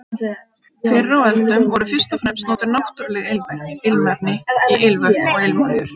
Fyrr á öldum voru fyrst og fremst notuð náttúruleg ilmefni í ilmvötn og ilmolíur.